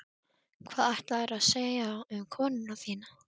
Hvað ætlaðirðu að segja um konuna þína?